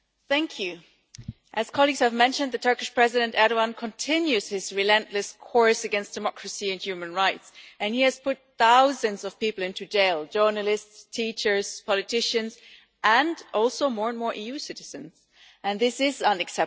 Mr President, as colleagues have mentioned, Turkish President Erdoğan continues his relentless course against democracy and human rights, and he has put thousands of people into jail journalists, teachers, politicians, and also, more and more EU citizens and this is unacceptable.